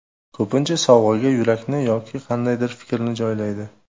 Ko‘pincha sovg‘aga yurakni yoki qandaydir fikrni joylaydi.